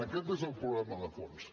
aquest és el problema de fons